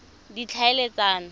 ditlhaeletsano